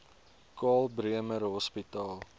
karl bremer hospitaal